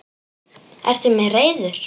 Ertu mér reiður?